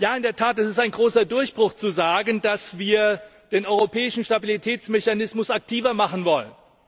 In der Tat, es ist ein großer Durchbruch zu sagen, dass wir den europäischen Stabilitätsmechanismus aktiver machen wollen.